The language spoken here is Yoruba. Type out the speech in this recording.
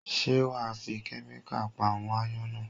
Ṣé wà á fi kẹ́míkà pa àwọn ááyán náà?